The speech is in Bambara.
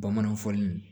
Bamananw fɔ nin